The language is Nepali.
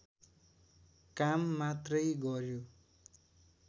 काम मात्रै गर्यो